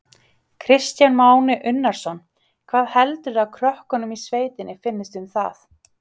Kristján Már Unnarsson: Hvað heldurðu að krökkum í sveit finnist um það?